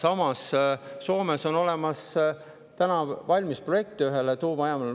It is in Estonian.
Aga samas on Soomes täna valmis ühe tuumajaama projekt.